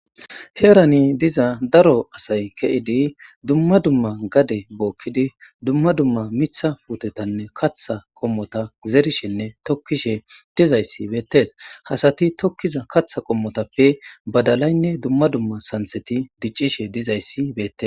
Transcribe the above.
Heerani diza daro asay keidi dumma dumma gade bokid dumma dumma miththa puttetanne kaththa qommota zerishenne tokishe dizayisi betees ha asat tokiza kaththa qommotappe badalayine dumma dumma saniththet dicishshe dizayisi beteesi